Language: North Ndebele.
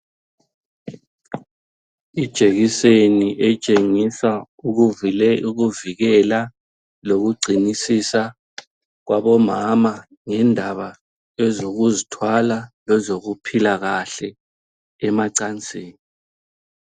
Ijekiseni etshengisa ukuvikela lokugcinisisa kwabomama ngendaba ezokuzithwala lezokuphila kahle emacansini.